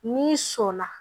N'i sɔ la